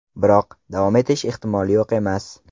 Biroq davom etish ehtimoli yo‘q emas.